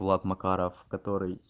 влад макаров который